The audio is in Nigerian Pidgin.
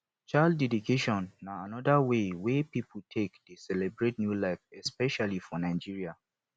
child dedication na anoda wey wey pipo take dey celebrate new life especially for nigeria